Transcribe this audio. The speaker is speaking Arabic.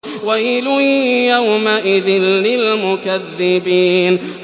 وَيْلٌ يَوْمَئِذٍ لِّلْمُكَذِّبِينَ